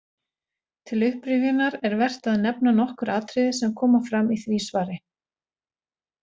Til upprifjunar er vert að nefna nokkur atriði sem fram koma í því svari.